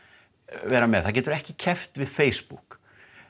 vera með það getur ekki keppt við Facebook